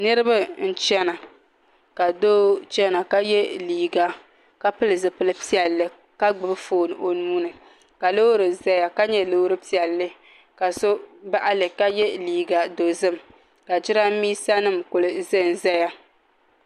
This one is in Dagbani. Niraba n chɛna ka doo chɛna ka yɛ liiga ka pili zipili piɛlli ka gbubi foon o nuuni ka loori ʒɛya ka nyɛ loori piɛlli ka so baɣali ka yɛ liiga dozim ka jiranbiisa nim kuli ʒunʒɛya